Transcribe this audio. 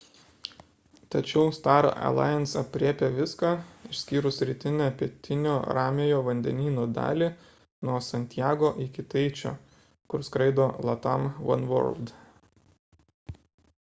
tačiau star alliance aprėpia viską išskyrus rytinę pietinio ramiojo vandenyno dalį nuo santjago iki taičio kur skraido latam oneworld